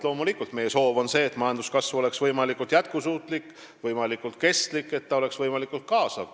Loomulikult, meie soov on see, et majanduskasv oleks võimalikult jätkusuutlik, võimalikult kestlik, et ta oleks võimalikult kaasav.